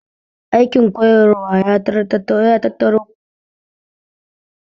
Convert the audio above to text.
Aikin koyar ya tattaro kowane irin aiki dasana'a